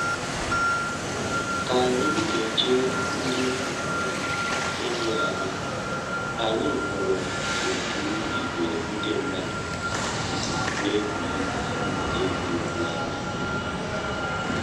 Ka anyị na-eche ndị um enyi anyị, anyị hụrụ otu ìgwè ndị mmadụ um na-egwuri um egwu n'ámá